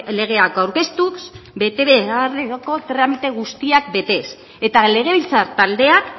legeak aurkeztuz betebeharreko tramite guztiak betez eta legebiltzar taldeak